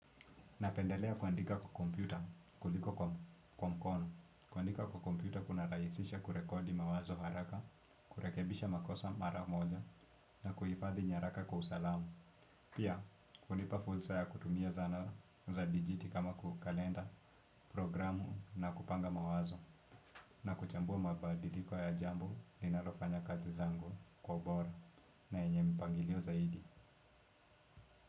Napendelea kuandika kwa kompyuta kuliko kwa mkono, kuandika kwa kompyuta kunarahisisha kurekodi mawazo haraka, kurekebisha makosa mara moja na kuhifadhi nyaraka kwa usalamu. Pia, hunipa fursa ya kutumia zana za digit kama kwa kalenda, programu na kupanga mawazo na kuchambua mabadiliko ya jambo linalofanya kazi zangu kwa ubora na yenye mpangilio zaidi.